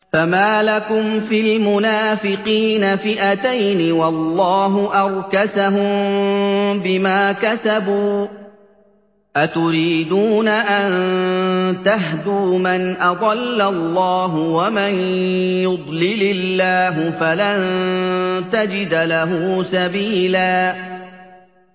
۞ فَمَا لَكُمْ فِي الْمُنَافِقِينَ فِئَتَيْنِ وَاللَّهُ أَرْكَسَهُم بِمَا كَسَبُوا ۚ أَتُرِيدُونَ أَن تَهْدُوا مَنْ أَضَلَّ اللَّهُ ۖ وَمَن يُضْلِلِ اللَّهُ فَلَن تَجِدَ لَهُ سَبِيلًا